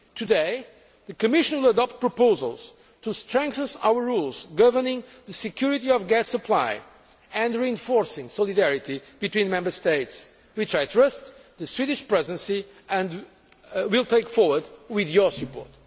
Today, the Commission will adopt proposals to strengthen our rules governing the security of gas supply and reinforcing solidarity between Member States, which I trust the Swedish Presidency will take forward with your support.